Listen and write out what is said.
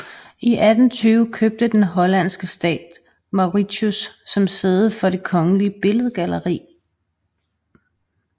I 1820 købte den hollandske stat Mauritshuis som sæde for det kongelige billedgalleri